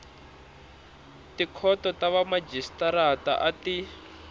tikhoto ta vamajisitarata a ti